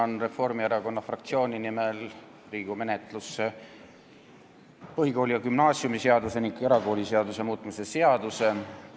Annan Reformierakonna fraktsiooni nimel Riigikogu menetlusse põhikooli- ja gümnaasiumiseaduse ning erakooliseaduse muutmise seaduse eelnõu.